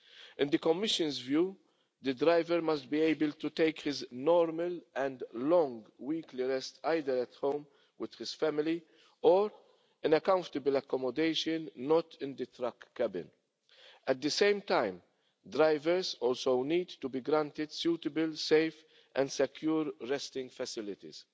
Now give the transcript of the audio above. In the Commission's view, the driver must be able to take his normal and long weekly rest either at home with his family, or in comfortable accommodation not in the truck cabin. At the same time, drivers also need to be granted suitable, safe and secure resting facilities.